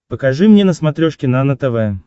покажи мне на смотрешке нано тв